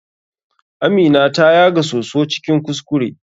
Amina ta yaga soso cikin kuskure.